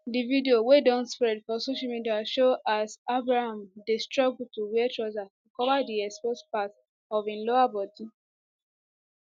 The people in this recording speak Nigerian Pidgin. di video wey don spread for social media show as abraham dey struggle to wear trouser to cover di exposed part of im lower body